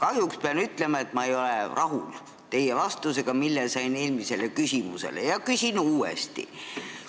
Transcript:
Kahjuks pean ütlema, et ma ei ole rahul teie vastusega, mille sain oma eelmisele küsimusele, ja küsin uuesti.